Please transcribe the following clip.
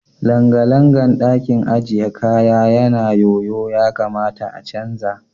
Langalangan ɗakin ajiye kaya yana yoyo ya kamata a canza.